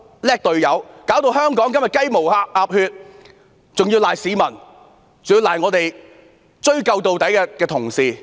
你令香港今天"雞毛鴨血"，還要推卸給市民，推卸給追究到底的同事。